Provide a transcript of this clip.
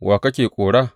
Wa kake kora?